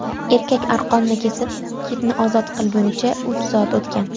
Erkak arqonni kesib, kitni ozod qilgunicha uch soat o‘tgan.